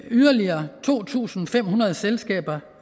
yderligere to tusind fem hundrede selskaber